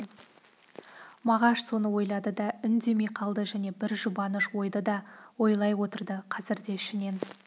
мағаш соны ойлады да үндемей қалды және бір жұбаныш ойды да ойлай отырды қазірде де ішінен